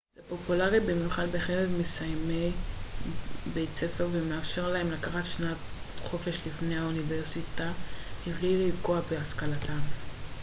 זה פופולרי במיוחד בקרב מסיימי בית ספר ומאפשר להם לקחת שנת חופש לפני האוניברסיטה מבלי לפגוע בהשכלתם